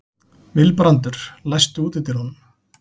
Vilbrandur, læstu útidyrunum.